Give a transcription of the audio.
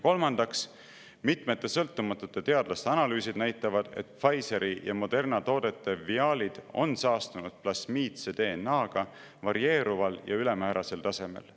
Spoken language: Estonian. Kolmandaks, mitmete sõltumatute teadlaste analüüsid näitavad, et Pfizeri ja Moderna toodete viaalid on saastunud plasmiidse DNA-ga varieeruval ja ülemäärasel tasemel.